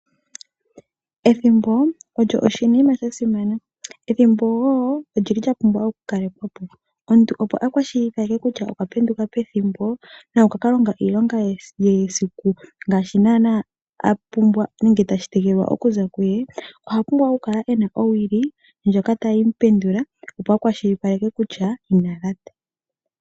Ethimbo olyo oshinima sha simana. Ethimbo woo olyili lya pumbwa oku kalekwapo . Omuntu opo a kwashilipaleke kutya okwa penduka pethimbo na okwa ka longa iilonga ye yesiku ngaashi naanaa a pumbwa nenge tashi tengenekwa okuza kuye. Okwa pumbwa oku kala ena owili ndjoka tayi mu pendula opo a kwashilipaleke kutya ina lata.